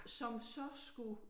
Som så skulle